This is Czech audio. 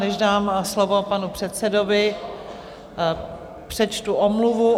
Než dám slovo panu předsedovi, přečtu omluvu.